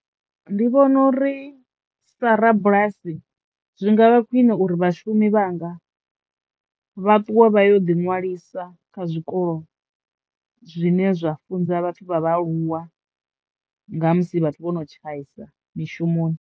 Ndi vhona uri sa rabulasi zwi ngavha khwine uri vhashumi vhanga vha ṱwe vha yo ḓi ṅwalisa kha zwikolo zwine zwa funza vhathu vha vhaaluwa nga musi vhathu vho no tshaisa mishumoni.